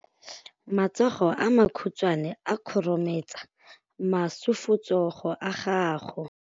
Matsogo a makhutshwane a khurumetsa masufutsogo a gago.